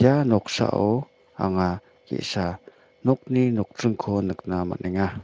ia noksao anga ge·sa nokni nokdringko nikna man·enga.